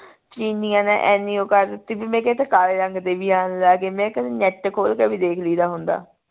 ਚੀਨੀਆਂ ਨੇ ਇੰਨੀ ਉਹ ਕਰ ਦਿੱਤੀ ਵੀ ਮੈਂ ਕਿਹਾ ਇਹ ਤਾਂ ਕਾਲੇ ਰੰਗ ਦੇ ਵੀ ਆਣ ਲੱਗ ਗਏ ਮੈਂ ਕਿਹਾ ਨੇਟ ਤੇ ਖੋਲ ਕੇ ਵੀ ਦੇਖ ਲਈ ਦਾ ਹੁੰਦੇ